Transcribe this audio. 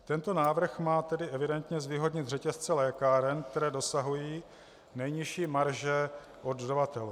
Tento návrh má tedy evidentně zvýhodnit řetězce lékáren, které dosahují nejnižší marže od dodavatelů.